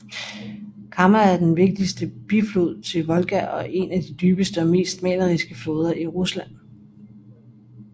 Kama er den vigtigste biflod til Volga og en af de dybeste og mest maleriske floder i Rusland